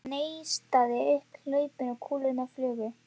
Það neistaði um hlaupin og kúlurnar flugu.